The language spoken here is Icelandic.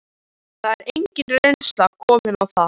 Það er engin reynsla komin á það.